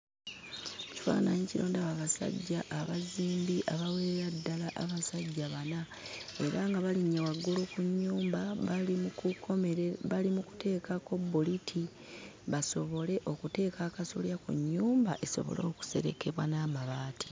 Mu kifaananyi kino ndaba abasajja abazimbi abawerera ddala abasajja bana, era nga balinnye waggulu ku nnyumba bali mu kukomere bali mu kuteekako bbuliti basobole okuteeka akasolya ku nnyumba, esobole okuserekebwa n'amabaati.